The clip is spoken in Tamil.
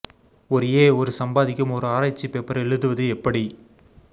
ஒரு ஏ ஒரு சம்பாதிக்கும் ஒரு ஆராய்ச்சி பேப்பர் எழுதுவது எப்படி